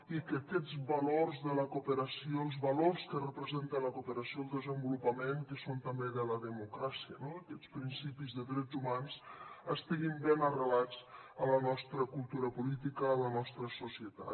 i que aquests valors de la cooperació els valors que representa la cooperació al desenvolupament que són també de la democràcia no d’aquests principis de drets humans estiguin ben arrelats a la nostra cultura política a la nostra societat